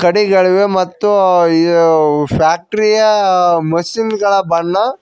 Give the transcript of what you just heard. ಕಡಿಗಳಿವೆ ಮತ್ತು ಈ ಫ್ಯಾಕ್ಟರಿ ಯ ಮಷೀನ್ ಗಳ ಬಣ್ಣ--